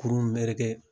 Kurun meleke